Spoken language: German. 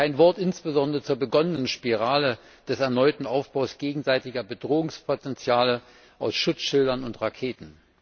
Kein Wort insbesondere zu der begonnenen Spirale des erneuten Aufbaus gegenseitiger Bedrohungspotenziale aus Schutzschilden und Raketen.